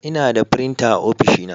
Ina da firinta a ofishina.